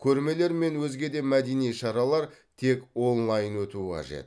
көрмелер мен өзге де мәдени шаралар тек онлайн өтуі қажет